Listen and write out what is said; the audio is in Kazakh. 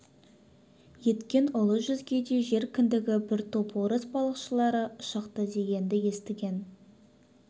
еткен ұлы жүзге де жер кіндігі бір топ орыс балықшылары шықты дегенді естіген